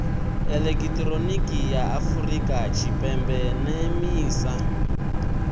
elekihironiki ya afurika tshipembe nemisa